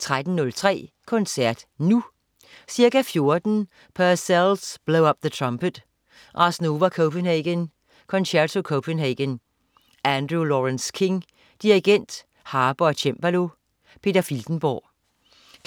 13.03 Koncert Nu. Ca. 14.00 Purcells Blow up the Trumpet. Ars Nova Copenhagen, Concerto Copenhagen. Andrew Lawrence-King, dirigent, harpe og cembalo. Peter Filtenborg